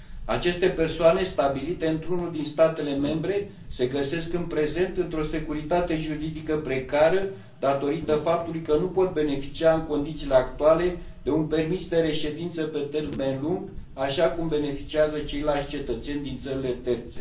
Aceste persoane stabilite într unul din statele membre se găsesc în prezent într o securitate juridică precară, datorită faptului că nu pot beneficia în condițiile actuale de un permis de reședință pe termen lung, așa cum beneficiază ceilalți cetățeni din țările terțe.